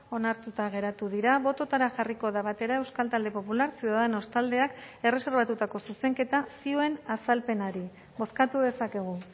onartuta geratu dira bototara jarriko da batera euskal talde popular ciudadanos taldeak erreserbatutako zuzenketa zioen azalpenari bozkatu dezakegu